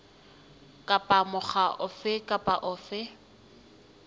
kapa mokga ofe kapa ofe